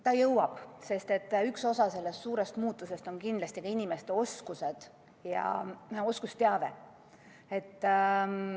Ta jõuab, sest üks osa sellest suurest muutusest on kindlasti ka inimeste oskused ja oskusteave.